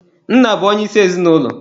Nna bụ onye isi ezinụlọ.